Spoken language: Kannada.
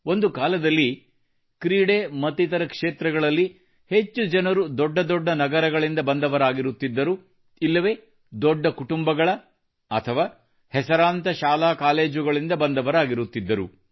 ಒಂದು ಕಾಲದಲ್ಲಿ ಕ್ರೀಡೆ ಮತ್ತಿತರ ಕ್ಷೇತ್ರಗಳಲ್ಲಿ ಹೆಚ್ಚು ಜನರು ದೊಡ್ಡ ದೊಡ್ಡ ನಗರಗಳಿಂದ ಬಂದವರಾಗಿರುತ್ತಿದ್ದರು ಇಲ್ಲವೆ ದೊಡ್ಡ ಕುಟುಂಬಗಳ ಻ಅಥವಾ ಹೆಸರಾಂತ ಶಾಲೆ ಕಾಲೇಜುಗಳಿಂದ ಬಂದವರಾಗಿರುತ್ತಿದ್ದರು